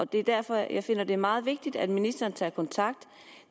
det er derfor jeg finder det meget vigtigt at ministeren tager kontakt